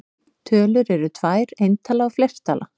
Tölur eru tvær: eintala og fleirtala.